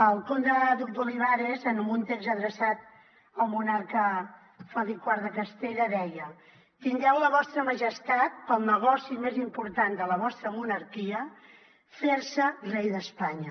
el comte duc d’olivares en un text adreçat al monarca felip iv de castella deia tingueu la vostra majestat pel negoci més important de la vostra monarquia fer vos rei d’espanya